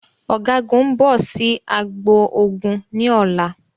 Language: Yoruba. Ọ̀gágun ń bọ̀ sì agbo ogun ni ọ̀la